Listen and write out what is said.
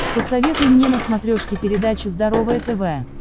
посоветуй мне на смотрешке передачу здоровое тв